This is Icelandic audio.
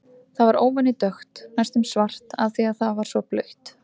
Það var óvenju dökkt, næstum svart, af því að það var svo blautt.